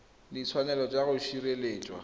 le ditshwanelo tsa go sireletswa